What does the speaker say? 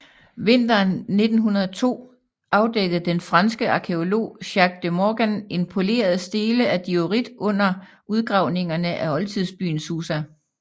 Vinteren 1902 afdækkede den franske arkæolog Jacques de Morgan en poleret stele af diorit under udgravningerne af oldtidsbyen Susa